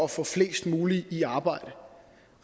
at få flest muligt i arbejde